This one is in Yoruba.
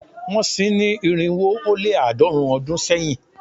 Wọ́n sin ín ní irinwo ó lé àádọ́rùn-ún ọdún sẹ́yìn